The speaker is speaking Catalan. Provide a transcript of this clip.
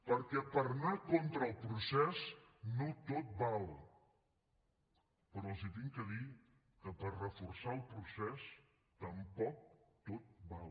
perquè per anar contra el procés no tot val però els haig de dir que per reforçar el procés tampoc tot val